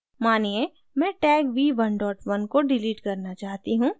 मानिए मैं tag v11 को डिलीट करना चाहती हूँ